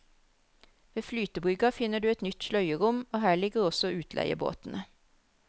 Ved flytebrygga finner du et nytt sløyerom og her ligger også utleiebåtene.